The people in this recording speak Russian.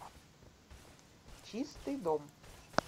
чистый дом